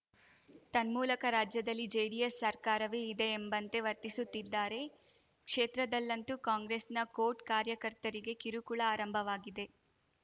ತನ್ಮೂಲಕ ರಾಜ್ಯದಲ್ಲಿ ಜೆಡಿಎಸ್‌ ಸರ್ಕಾರವೇ ಇದೆ ಎಂಬಂತೆ ವರ್ತಿಸುತ್ತಿದ್ದಾರೆ ಕ್ಷೇತ್ರದಲ್ಲಂತೂ ಕಾಂಗ್ರೆಸ್‌ನ ಕೋಟ್ ಕಾರ್ಯಕರ್ತರಿಗೆ ಕಿರುಕುಳ ಆರಂಭವಾಗಿದೆ